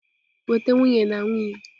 Weta nwunye na nwunye!